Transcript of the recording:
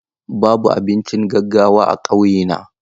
Babu abincin gaggawa a ƙauyena.